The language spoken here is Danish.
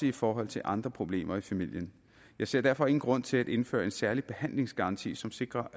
i forhold til andre problemer i familien jeg ser derfor ingen grund til at indføre en særlig behandlingsgaranti som sikrer